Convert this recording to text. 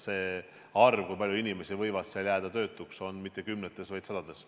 See arv, kui paljud inimesed võivad seal jääda töötuks, ei ole mitte kümnetes, vaid sadades.